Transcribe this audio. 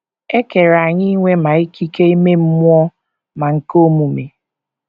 E kere anyị inwe ma ikike ime mmụọ ma nke omume.